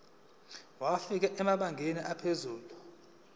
wafika emabangeni aphezulu